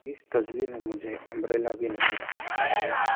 इस तस्वीर मुझे अंब्रेला भी नजर आ रहा है।